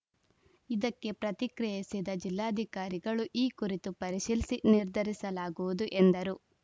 ಇದಕ್ಕೆ ಪ್ರತಿಕ್ರಿಯಿಸಿದ ಜಿಲ್ಲಾಧಿಕಾರಿಗಳು ಈ ಕುರಿತು ಪರಿಶೀಲಿಸಿ ನಿರ್ಧರಿಸಲಾಗುವುದು ಎಂದರು